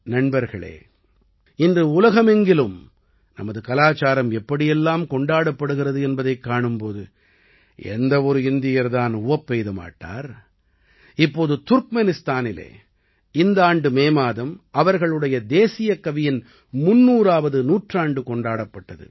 நண்பர்களே இன்று உலகமெங்கிலும் நமது கலாச்சாரம் எப்படியெல்லாம் கொண்டாடப்படுகிறது என்பதைக் காணும் போது எந்த ஒரு இந்தியர் தான் உவப்பெய்த மாட்டார் இப்போது துர்க்மெனிஸ்தானிலே இந்த ஆண்டு மே மாதம் அவர்களுடைய தேசியக்கவியின் 300ஆவது நூற்றாண்டு கொண்டாடப்பட்டது